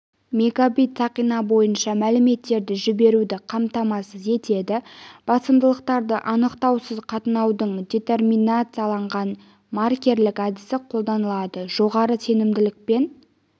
мегабит сақина бойынша мәліметтерді жіберуді қамтамасыз етеді басымдықтарды анықтаусыз қатынаудың детерминацияланған маркерлік әдісі қолданылады жоғары сенімділікпен